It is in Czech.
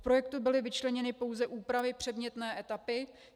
V projektu byly vyčleněny pouze úpravy předmětné etapy.